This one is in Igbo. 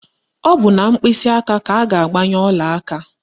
Ọ bụ na mkpịsịaka ka a ga-agbanye ọlaaka